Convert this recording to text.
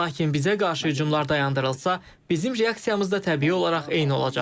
Lakin bizə qarşı hücumlar dayandırılsa, bizim reaksiyamızda təbii olaraq eyni olacaq.